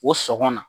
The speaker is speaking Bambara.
O sɔn na